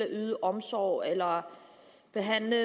yde omsorg eller behandle